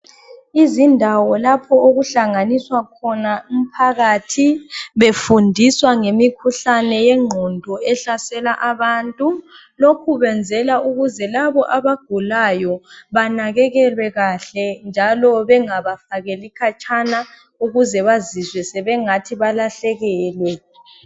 Izindawo lapho okuhlanganiswa khona umphakathi befundiswa ngemikhuhlane yengqondo ehlasela abantu. Lokhu benzela ukuze labo abagulayo banakekelwe kahle njalo bengabafakeli khatshana ukuze bazizwe sebengathi balahlekelwe .